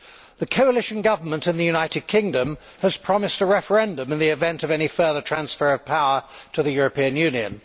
The coalition government in the United Kingdom has promised a referendum in the event of any further transfer of power to the European Union.